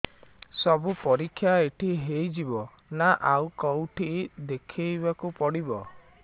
ସବୁ ପରୀକ୍ଷା ଏଇଠି ହେଇଯିବ ନା ଆଉ କଉଠି ଦେଖେଇ ବାକୁ ପଡ଼ିବ